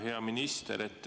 Hea minister!